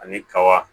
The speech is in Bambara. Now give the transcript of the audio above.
Ani kaba